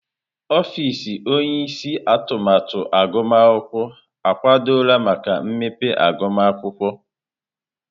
Ọfịs onye isi atụmatụ agụmakwụkwọ akwadola maka mmepe agụmakwụkwọ.